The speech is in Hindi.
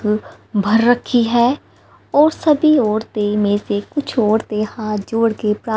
भर रखी है और सभी औरतें में से कुछ औरतें हाथ जोड़के प्रार्थना--